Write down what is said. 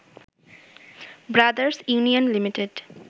brothers union limited